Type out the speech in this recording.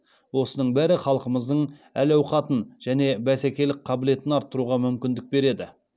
осының бәрі халқымыздың әл ауқатын және бәсекелік қабілетін арттыруға мүмкіндік береді